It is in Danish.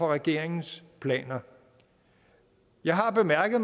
regeringens planer jeg har bemærket